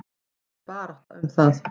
Það er barátta um það.